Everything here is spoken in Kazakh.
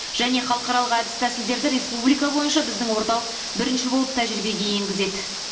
және халықаралық әдіс тәсілдерді республика бойынша біздің орталық бірінші болып тәжірибеге енгізеді